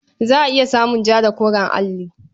Za a iya samun ja da koren alli.